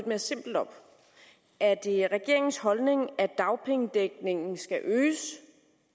mere simpelt op er det regeringens holdning at dagpengedækningen skal øges